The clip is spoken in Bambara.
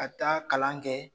Ka taa kalan kɛ